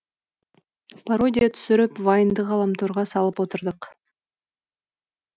пародия түсіріп вайнды ғаламторға салып отырдық